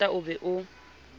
o qeta o be o